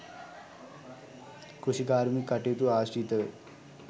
කෘෂිකාර්මික කටයුතු ආශ්‍රිතව